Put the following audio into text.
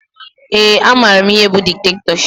Ee, amara m ihe bụ diktetọship